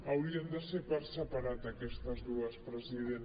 hau·rien de ser per separat aquestes dues president